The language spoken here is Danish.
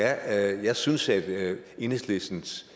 af eu jeg synes at enhedslistens